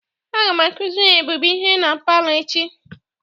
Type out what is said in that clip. Aga m akuziri ebube ihe na palọ echi.